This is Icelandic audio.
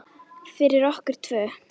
Fyrir okkur tvö.